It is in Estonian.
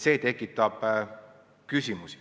See tekitab küsimusi.